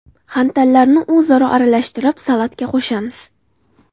xantallarni o‘zaro aralashtirib salatga qo‘shamiz.